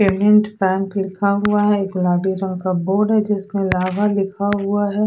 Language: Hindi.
केनिउंत पेंट लिखा हुआ है एक गुलाबी रंग का बोर्ड है जिसमें फ्लावर लिखा हुआ हुआ है दो स--